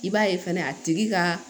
I b'a ye fɛnɛ a tigi ka